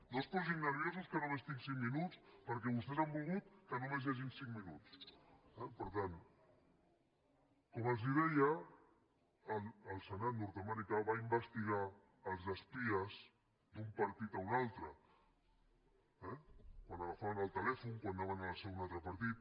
no es posin nerviosos que només tinc cinc minuts perquè vostès han volgut que només hi hagi cinc minuts eh per tant com els deia el senat nord americà va investigar els espies d’un partit a un altre eh quan agafaven el telèfon quan anaven a la seu d’un altre partit